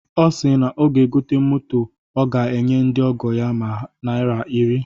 Ọ si na ego moto ọ ga-enye ndị ọgọ ya bụ naira iri.